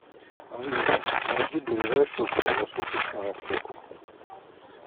алиса найди ближайшую круглосуточную аптеку